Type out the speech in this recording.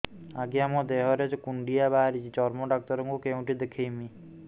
ଆଜ୍ଞା ମୋ ଦେହ ରେ କୁଣ୍ଡିଆ ବାହାରିଛି ଚର୍ମ ଡାକ୍ତର ଙ୍କୁ କେଉଁଠି ଦେଖେଇମି